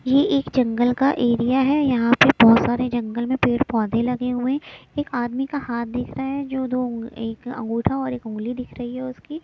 ये एक जंगल का एरिया है यहां पे बहोत सारे जंगल में पेड़ पौधे लगे हुए एक आदमी का हाथ दिख रहा है जो दो एक अंगूठा और एक उंगली दिख रही है उसकी।